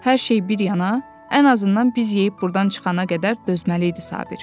Hər şey bir yana, ən azından biz yeyib buradan çıxana qədər dözməli idi Sabir.